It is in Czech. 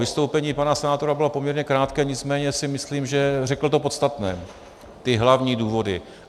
Vystoupení pana senátora bylo poměrně krátké, nicméně si myslím, že řekl to podstatné, ty hlavní důvody.